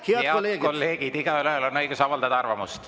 Head kolleegid, igaühel on õigus avaldada arvamust.